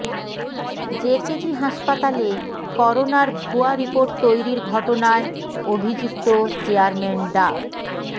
JKG হাসপাতালে করোনার ভুয়া রিপোর্ট তৈরির ঘটনায় অভিযুক্ত চেয়ারম্যান ডা